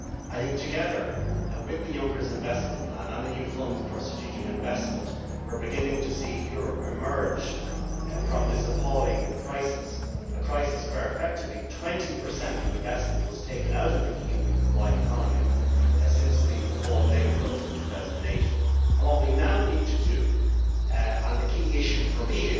I think, together with the Juncker investment plan and the new funds for strategic investment, we are beginning to see Europe emerge from this appalling crisis a crisis where effectively 20 of investment has been taken out of the EU-wide economy since the fall of Lehman Brothers in 2008. What we now need to do and it is the key issue for me